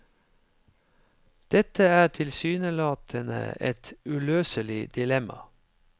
Dette er tilsynelatende et uløselig dilemma.